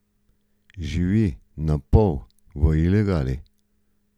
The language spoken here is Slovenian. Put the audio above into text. Živi napol v ilegali.